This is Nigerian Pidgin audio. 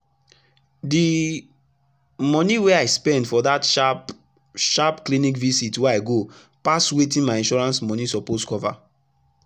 d moni wey i spend for that sharp sharp clinic visit wey i go pass wetin my insurance moni suppose cover